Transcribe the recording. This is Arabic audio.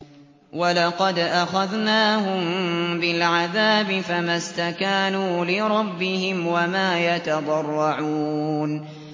وَلَقَدْ أَخَذْنَاهُم بِالْعَذَابِ فَمَا اسْتَكَانُوا لِرَبِّهِمْ وَمَا يَتَضَرَّعُونَ